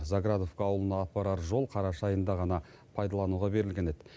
заградовка ауылына апарар жол қараша айында ғана пайдалануға берілген еді